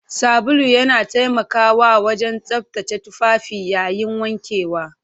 Sabulu yana taimakawa wajen tsaftace tufafi yayin wankewa.